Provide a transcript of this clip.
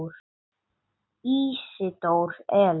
Ísidór Elís.